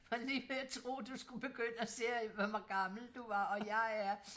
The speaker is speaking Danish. Var lige ved at tro du skulle begynde at sige hvor gammel du var og jeg er